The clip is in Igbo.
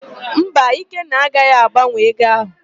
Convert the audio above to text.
Mba, Ikenna agaghị agbanwe ego áhụ̀.